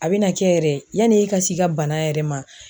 A bɛna kɛ yɛrɛ yani e ka s'i ka bana yɛrɛ ma